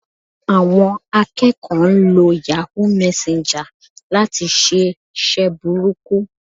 Àwọn akẹ́kọ̀ọ́ ń lo Yahoo messenger láti ṣe iṣẹ́ burúkú